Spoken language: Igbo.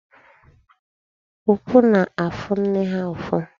Ụkwụ na-afụ nne ha ụfụ.